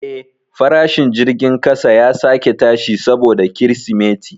Eh, farashin jirgin kasa ya sake tashi saboda Kirsimeti.